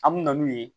An me na n'u ye